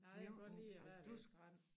Nej jeg kan godt lide at være ved æ strand